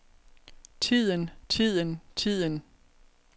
tiden tiden tiden